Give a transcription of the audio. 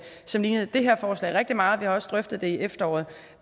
som lignede det her forslag rigtig meget vi har også drøftet det i efteråret